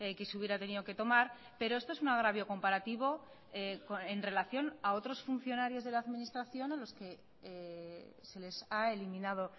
que se hubiera tenido que tomar pero esto es un agravio comparativo en relación a otros funcionarios de la administración a los que se les ha eliminado